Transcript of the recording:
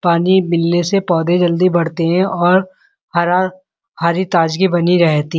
पानी मिलने से पौधे जल्दी बढ़ते हैं और हरा हरी ताजगी बनी रहती --